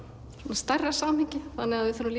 stærra samhengi þannig að við þurfum